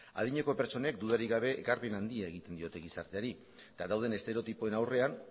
adineko pertsonek dudarik gabe ekarpen handia egiten diote gizarteari eta dauden estereotipoen aurrean